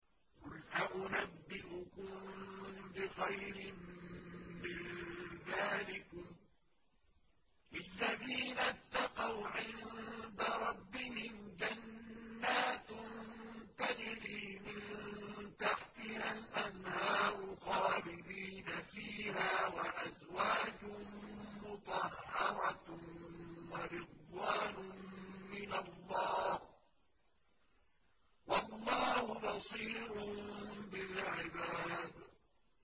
۞ قُلْ أَؤُنَبِّئُكُم بِخَيْرٍ مِّن ذَٰلِكُمْ ۚ لِلَّذِينَ اتَّقَوْا عِندَ رَبِّهِمْ جَنَّاتٌ تَجْرِي مِن تَحْتِهَا الْأَنْهَارُ خَالِدِينَ فِيهَا وَأَزْوَاجٌ مُّطَهَّرَةٌ وَرِضْوَانٌ مِّنَ اللَّهِ ۗ وَاللَّهُ بَصِيرٌ بِالْعِبَادِ